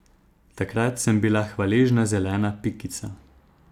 Takrat sem bila hvaležna zelena pikica.